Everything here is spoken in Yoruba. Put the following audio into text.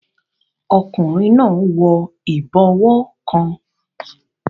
Ọkùnrin náà n wọ ìbọwọ́ kan